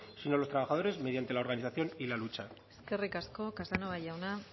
sino los trabajadores mediante la organización y la lucha eskerrik asko casanova jauna